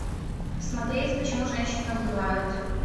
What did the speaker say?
смотреть почему женщина убивают